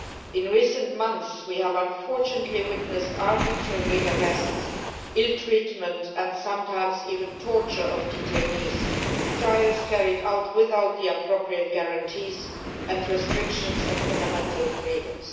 In recent months we have unfortunately witnessed arbitrary arrests, ill treatment and sometimes even torture of detainees, trials carried out without the appropriate guarantees, and restrictions of fundamental freedoms.